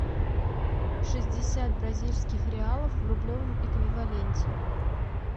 шестьдесят бразильских реалов в рублевом эквиваленте